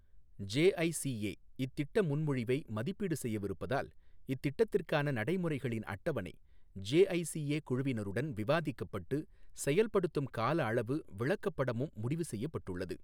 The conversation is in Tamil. ஜெஐசிஏ இத்திட்ட முன்மொழிவை மதிப்பீடு செய்யவிருப்பதால், இத்திட்டத்திற்கான நடைமுறைகளின் அட்டவணை, ஜெஐசிஏ குழுவினருடன் விவாதிக்கப்பட்டு, செயல்படுத்தும் கால அளவு விளக்கப்படமும் முடிவு செய்யப்பட்டுள்ளது.